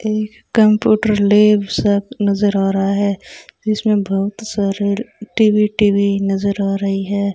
Computer lab सब नजर आ रहा है इसमें बहुत सारे टी_वी_टी_वी नजर आ रही हैं।